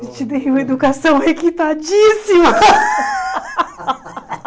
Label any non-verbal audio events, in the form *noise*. Eu te dei uma educação requintadíssima. *laughs*